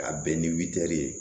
Ka bɛn ni witɛri ye